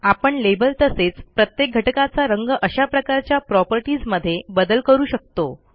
आपण लेबल तसेच प्रत्येक घटकाचा रंग अशा प्रकारच्या प्रॉपर्टीज मध्ये बदल करू शकतो